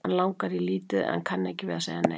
Hana langar lítið í en kann ekki við að segja nei.